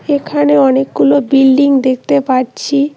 এখানে অনেকগুলো বিল্ডিং দেখতে পাচ্ছি।